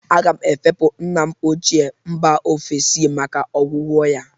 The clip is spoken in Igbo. Aga m efepụ nna m ochịe, mba ofesi maka ọgwụgwọ ya.